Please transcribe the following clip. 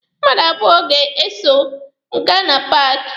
Mmadụ abụọ ga-eso m aga na paaki.